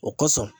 O kosɔn